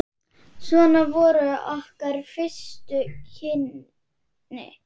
Svona voru okkar fyrstu kynni.